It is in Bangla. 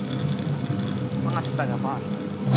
পাঁচ টাকা পাঁচ টাকা